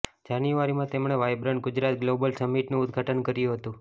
જાન્યુઆરીમાં તેમણે Vibrant Gujarat Global સમિટનું ઉદઘાટન કર્યું હતું